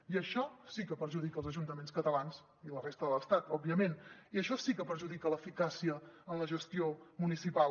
i això sí que perjudica els ajuntaments catalans i de la resta de l’estat òbviament i això sí que perjudica l’eficàcia en la gestió municipal